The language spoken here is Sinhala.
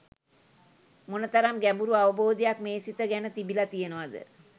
මොනතරම් ගැඹුරු අවබෝධයක් මේ සිත ගැන තිබිල තියෙනවාද